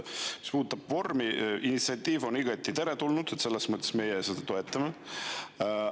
Mis puudutab vormi, siis see initsiatiiv on igati teretulnud ja selles mõttes meie seda toetame.